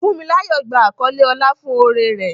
Funmilayo gba àkọlé ọlá fún oore rẹ̀.